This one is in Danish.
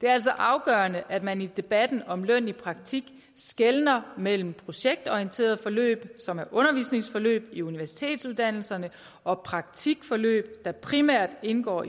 det er altså afgørende at man i debatten om løn i praktik skelner mellem projektorienterede forløb som er undervisningsforløb i universitetsuddannelserne og praktikforløb der primært indgår